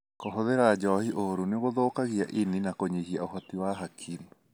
Kũhũthira njohi ũuru nĩgũthukagia ini na kũnyihia ũhoti wa hakiri.